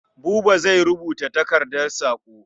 Buba zai rubuta takardar saƙo.